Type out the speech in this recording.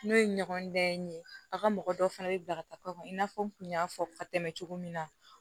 N'o ye ɲɔgɔndan ye a ka mɔgɔ dɔ fana bɛ bila ka taa i n'a fɔ n kun y'a fɔ ka tɛmɛ cogo min na